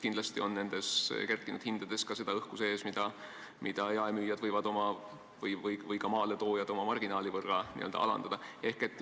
Kindlasti on kerkinud hindades ka õhku sees ja jaemüüjad või ka maaletoojad võivad oma marginaali veidi vähendada.